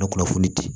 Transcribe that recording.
Na kunnafoni di